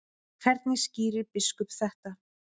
Hvernig skýrir biskup þetta?